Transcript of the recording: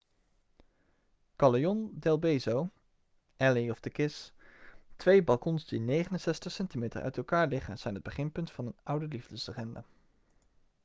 callejon del beso alley of the kiss. twee balkons die 69 centimeter uit elkaar liggen zijn het beginpunt van een oude liefdeslegende